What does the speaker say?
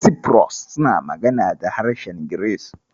Cyprus suna magana da harshen Giris.